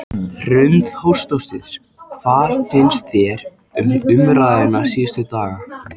Hrund Þórsdóttir: Hvað finnst þér um umræðuna síðustu daga?